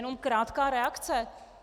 Jenom krátká reakce.